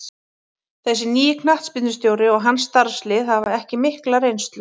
Þessi nýi knattspyrnustjóri og hans starfslið hafa ekki mikla reynslu.